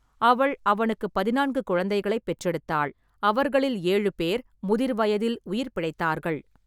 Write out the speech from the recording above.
அவள் அவனுக்குப் பதினான்கு குழந்தைகளைப் பெற்றெடுத்தாள், அவர்களில் ஏழு பேர் முதிர்வயதில் உயிர் பிழைத்தார்கள்.